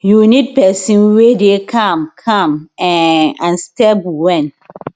you need pesin wey dey calm calm um and stable wen